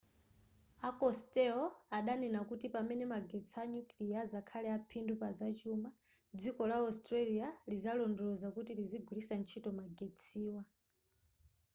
a costello adanena kuti pamene magetsi a nyukiliya azakhale aphindu pazachuma dziko la australia lizalondoloza kuti lizigwiritsa ntchito magetsiwa